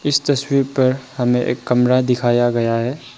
इस तस्वीर पर हमें एक कमरा दिखाया गया है।